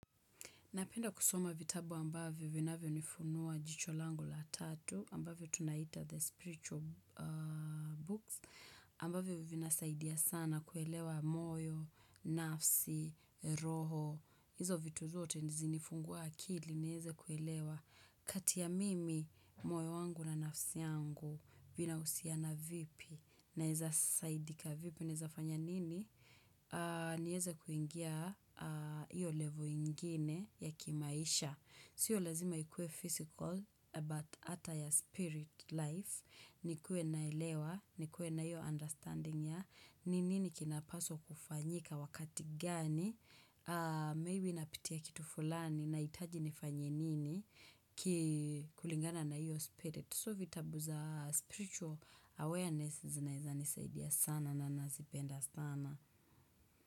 Napenda kusoma vitabu ambavyo vinavyo nifunua jicho langu la tatu ambavyo tunaita the spiritual aaa books ambavyo vinasaidia sana kuelewa moyo, nafsi, roho. Izo vitu zote zinifungua akili niweze kuelewa kati ya mimi moyo wangu na nafsi yangu vina husiana vipi naweza saidika vipi naweza fanya nini. Niweze kuingia hiyo level ingine ya kimaisha. Sio lazima ikue physical but ata ya spirit life. Nikue naelewa, nikue na iyo understanding ya ni nini kinapaswa kufanyika wakati gani. Maybe napitia kitu fulani nahitaji nifanye nini. Kulingana na hiyo spirit. So vitabu za spiritual awareness zinaweza nisaidia sana na nazipenda sana.